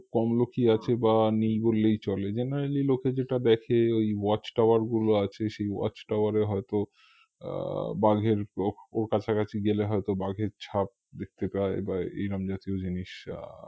কম লোকই আছে বা নেই বললেই চলে generally লোকে যেটা দেখে ঐ watchtower গুলো আছে সেই watchtower এ হয়ত আহ বাঘের কাছাকাছি গেলে হয়ত বাঘের ছাপ দেখতে পায় বা এইরাম জাতীয় জিনিস আহ